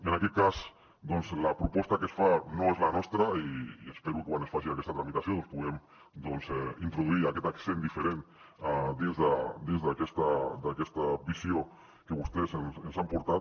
i en aquest cas doncs la proposta que es fa no és la nostra i espero que quan es faci aquesta tramitació doncs puguem introduir aquest accent diferent dins d’aquesta visió que vostès ens han portat